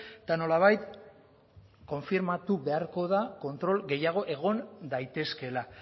eta nolabait konfirmatu beharko da kontrol gehiago egon daitezkeela